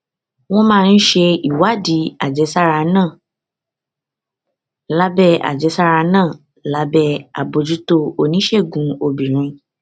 wọn máa ń ṣe ìwádìí àjẹsára náà lábẹ àjẹsára náà lábẹ àbójútó oníṣègùn obìnrin